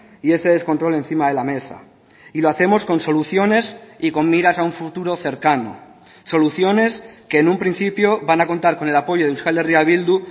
y este descontrol encima de la mesa y lo hacemos con soluciones y con miras a un futuro cercano soluciones que en un principio van a contar con el apoyo de euskal herria bildu